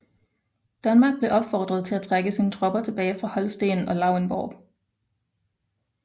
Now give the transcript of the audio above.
Danmark blev opfordret at trække sine tropper tilbage fra Holsten og Lauenborg